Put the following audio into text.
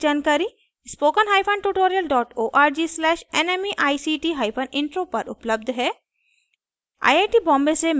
इस मिशन पर अधिक जानकारी spoken hyphen tutorial dot org slash nmeict hyphen intro उपलब्ध है